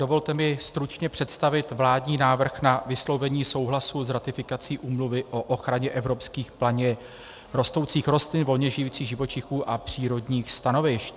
Dovolte mi stručně představit vládní návrh na vyslovení souhlasu s ratifikací Úmluvy o ochraně evropských planě rostoucích rostlin, volně žijících živočichů a přírodních stanovišť.